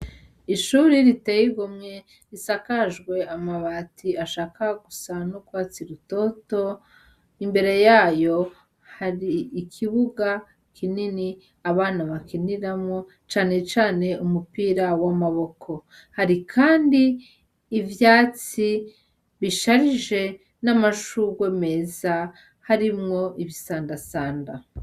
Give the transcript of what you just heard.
Ishuri riteye igumwe risakajwe amabati ashaka gusan'ukwatsi rutoto imbere yayo hari ikibuga kinini abana bakiniramwo canecane umupira w'amaboko hari, kandi ivyatsi bisharije je n'amashurwe meza harimwo ibisandasanda.